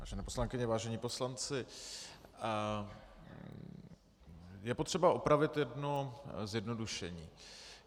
Vážené poslankyně, vážení poslanci, je potřeba opravit jedno zjednodušení.